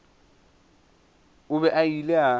o be a ile a